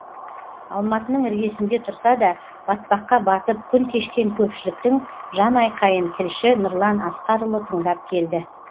алматының іргесінде тұрса да батпаққа батып күн кешкен көпшіліктің жанайқайын тілші нұрлан асқарұлы тыңдап келді